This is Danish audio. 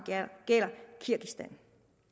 gælder kirgisistan